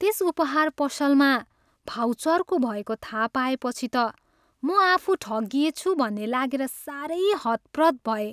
त्यस उपहार पसलमा भाउ चर्को भएको थाहा पाएपछि त म आफू ठगिएछु भन्ने लागेर सारै हतप्रभ भएँ।